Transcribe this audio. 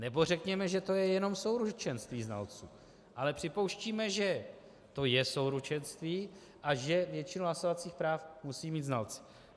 Nebo řekněme, že je to jenom souručenství znalců, ale připouštíme, že to je souručenství a že většinu hlasovacích práv musí mít znalci.